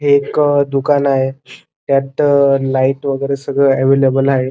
हे एक दुकान आहे त्यात लाइट वेगेरे सगळ एवलेबल आहे.